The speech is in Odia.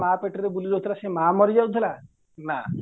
ମାଆ ପେଟରେ ବୁଲିକି ରହୁଥିଲା ସେ ମାଆ ମରିଯାଉଥିଲା ନା